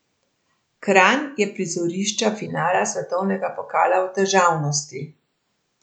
Kranj je prizorišča finala svetovnega pokala v težavnosti.